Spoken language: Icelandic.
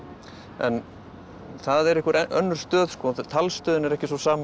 en það er einhver önnur stöð talstöðin er ekki sú sama